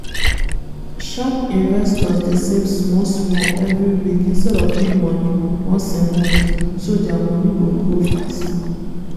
sharp investors dey save small-small every week instead of big money once a month-so dia money go grow fast.